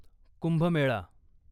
Kumbh Mela